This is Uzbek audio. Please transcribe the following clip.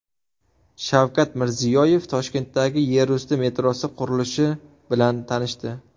Shavkat Mirziyoyev Toshkentdagi yerusti metrosi qurilishi bilan tanishdi .